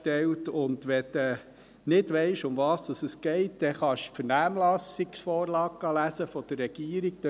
Wenn du nicht weisst, um was es geht, kannst du die Vernehmlassungsvorlage der Regierung lesen.